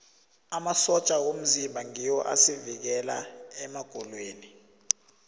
amasotja womzimba ngiwo asivikela emagulweni